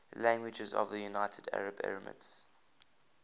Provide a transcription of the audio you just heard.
languages of the united arab emirates